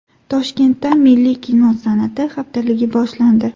Toshkentda milliy kino san’ati haftaligi boshlandi.